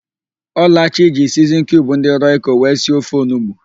Ọlachi ji siznin kiub ndỊ rọiko wee si ofe onugbo.